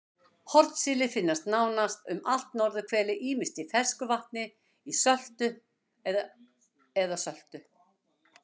Hornsíli finnst nánast um allt norðurhvelið ýmist í fersku vatni, ísöltu eða söltu.